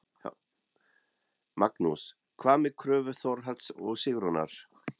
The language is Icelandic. Magnús: Hvað með kröfu Þórhalls og Sigrúnar?